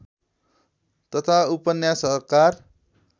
तथा उपन्यासकार